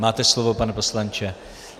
Máte slovo, pane poslanče.